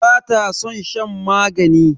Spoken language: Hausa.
Bata san shan magani.